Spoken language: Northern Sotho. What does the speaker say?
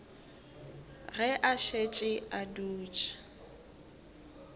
ge a šetše a dutše